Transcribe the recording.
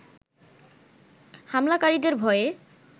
হামলাকারীদের ভয়ে